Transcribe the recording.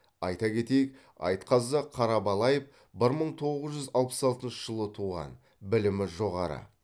айта кетейік айтқазы қарабалаев бір мың тоғыз жүз алпыс алтыншы жылы туған білімі жоғары